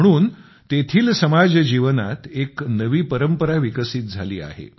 म्हणून तेथील समाजजीवनात एक नवी परंपरा विकसित झाली आहे